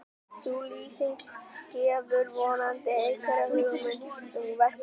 sú lýsing gefur vonandi einhverja hugmynd um verk hans